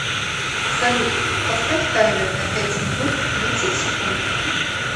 салют поставь таймер на пять минут тридцать секунд